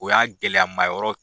O y'a gɛlɛyama yɔrɔ